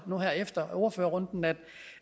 nu her efter ordførerrunden at